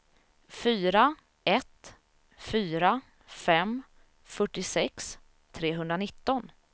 fyra ett fyra fem fyrtiosex trehundranitton